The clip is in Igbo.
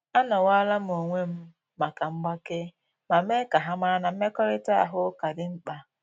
Anowalam onwem maka mgbake, ma mee ka ha mara na mmekọrịta ahụ ka dị mkpa